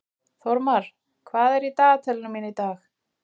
Þórmar, hvað er í dagatalinu mínu í dag?